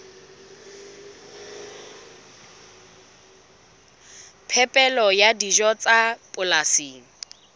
phepelo ya dijo tsa polasing